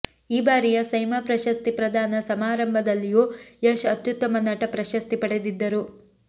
ಈ ಬಾರಿಯ ಸೈಮಾ ಪ್ರಶಸ್ತಿ ಪ್ರದಾನ ಸಮಾರಂಭದಲ್ಲಿಯೂ ಯಶ್ ಅತ್ಯುತ್ತಮ ನಟ ಪ್ರಶಸ್ತಿ ಪಡೆದಿದ್ದರು